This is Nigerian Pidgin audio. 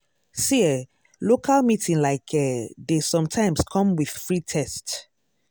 see eh local meeting like eeh dey sometimes come with free test.